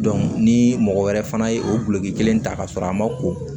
ni mɔgɔ wɛrɛ fana ye o guloki kelen ta ka sɔrɔ a ma ko